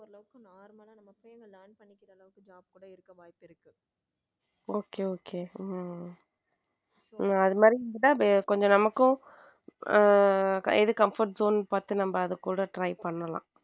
Okay okay உம் அது மாதிரி இருந்தா கொஞ்சம் நமக்கும் ஹம் எது comfort zone பார்த்து நம்ம கூட try பண்ணலாம்.